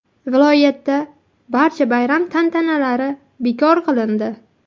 Viloyatda barcha bayram tantanalari bekor qilindi.